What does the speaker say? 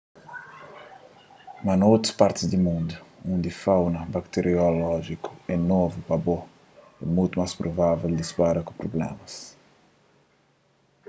mas na otu partis di mundu undi fauna bakteriolójiku é novu pa bo é mutu más provavel dipara ku prublémas